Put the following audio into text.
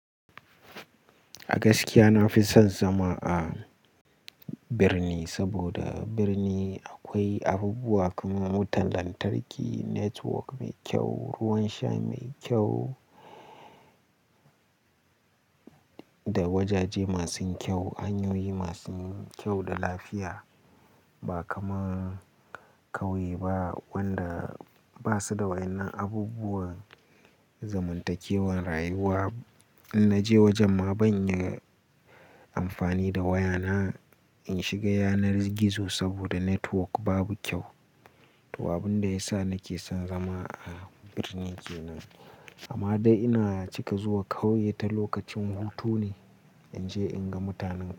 A gaskiya na fi son zama a birni, saboda a birni akwai abubuwa kamar wutan lantarki, network mai kyau, ruwan sha mai kyau da wajaje masu kyau, hanyoyi masu kyau da lafiya ba kamar ƙauye ba wanda ba su da waɗannan abubuwan zamantakewar rayuwa. In naje wajen ma ban iya amfani da wayana in shiga yanar gizo saboda network babu kyau. Tawabin da ya sa nake son zama a birni ke nan. Amma dai ina cika zuwa ƙauye ta lokacin hutu ne in je in ga mutanen ƙauye.